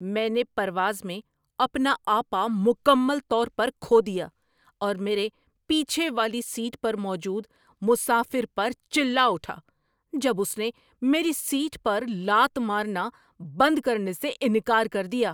میں نے پرواز میں اپنا آپا مکمل طور پر کھو دیا اور میرے پیچھے والی سیٹ پر موجود مسافر پر چلا اٹھا جب اس نے میری سیٹ پر لات مارنا بند کرنے سے انکار کر دیا۔